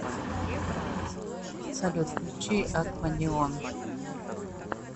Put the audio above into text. салют включи акванеон